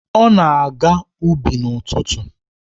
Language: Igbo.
Ọ na-aga ubi n'ụtụtụ?